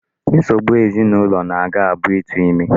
Nsogbu ezinụlọ a gá-abụ ịtụ ime.